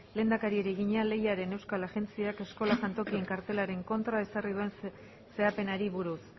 lehendakariari egina lehiaren euskal agintaritzak eskola jantokien kartelaren kontra ezarri duen zehapenari buruz